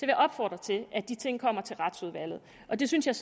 jeg opfordre til at de ting kommer til retsudvalget det synes jeg